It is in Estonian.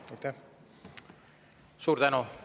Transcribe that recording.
Suur tänu!